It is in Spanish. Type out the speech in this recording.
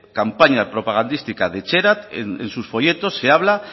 campañas propagandísticas de etxerat en sus folletos se habla